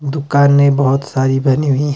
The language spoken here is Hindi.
दुकाने बहोत सारी बनी हुई--